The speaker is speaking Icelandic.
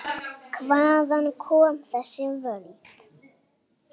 Hvaðan koma þessi völd?